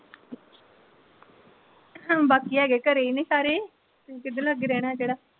ਬਾਕੀ ਹੈਗੇ ਘਰੇ ਹੀ ਨੇ ਸਾਰੇ ਕਿਹਦੇ ਲਾਗੇ ਰਹਿਣਾ ਜਿਹੜਾ।